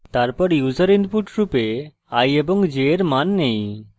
তারপর আমরা user inputs রূপে i এবং j এর then নেই